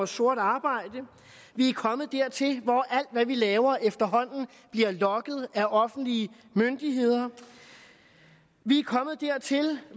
sort arbejde vi er kommet dertil hvor alt hvad vi laver efterhånden bliver logget af offentlige myndigheder vi er kommet dertil